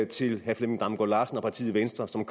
til herre flemming damgaard larsen og partiet venstre som